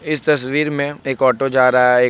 इस तस्वीर में एक ऑटो जा रहा है एक--